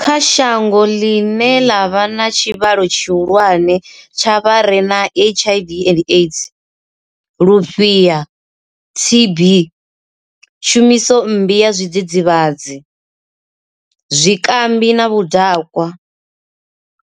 Kha shango ḽine ḽa vha na tshivhalo tshihulwane tsha vha re na HIV, AIDS, Lufhiha, TB, tshumiso mmbi ya zwidzidzivhadzi, zwikambi na vhudakwa,